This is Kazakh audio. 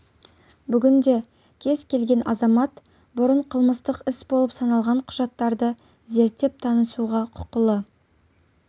бүгінде кез келген азамат бұрын қылмыстық іс болып саналған құжаттарды зерттеп-танысуға құқылы